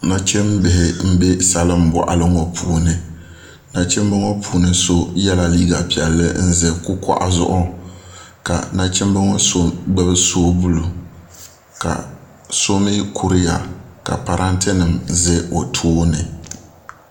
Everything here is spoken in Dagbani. Nachiimbihi nbɛ salin boɣali ŋo puuni nachinbi ŋo so yɛla liiga piɛlli n ʒɛ kukoɣu zuɣu ka nachimbi ŋo so gbubi soobuli ka so mii kuriya ka parantɛ nim ʒɛ o tooni